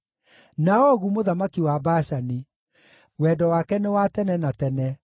na Ogu mũthamaki wa Bashani; Wendo wake nĩ wa tene na tene.